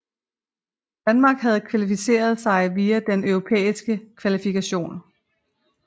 Danmark havde kvalificeret sig via den europæiske kvalifikation